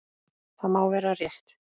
Það má vera rétt.